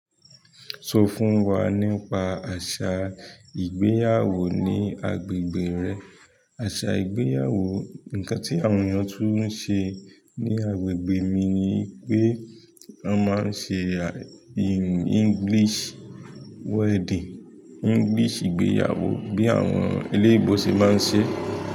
Sọ fún wa nípa àṣà ìgbéyàwó ní agbègbè rẹ. Àṣà ìgbéyàwó, nǹkan tí àwọn èèyàn tún ń ṣe ní agbègbè mi ni wípé wọn máa ń ṣe english wedding, english ìgbéyàwó bí àwọn eleebo ṣe máa ń ṣe.